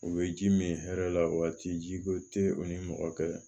U bɛ ji min hɛrɛ la waati ji ko tɛ u ni mɔgɔ kɛlɛ